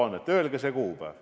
Öelge see kuupäev.